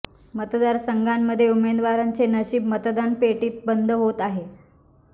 मतदार संघांमध्ये उमेदवारांचे नशिब मतदान पेटीत बंद होत आहे